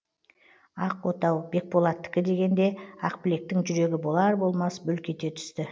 ақ отау бекболаттікі дегенде ақбілектің жүрегі болар болмас бүлк ете түсті